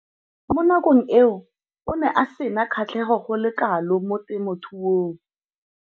Mo nakong eo o ne a sena kgatlhego go le kalo mo temothuong.